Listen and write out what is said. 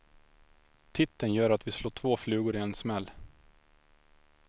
Titeln gör att vi slår två flugor i en smäll.